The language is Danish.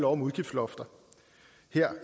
om udgiftslofter